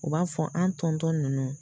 U b'a fɔ an ninnu